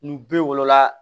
Ni b'o wolola